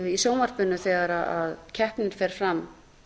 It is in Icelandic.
í sjónvarpinu þegar keppnin fer fram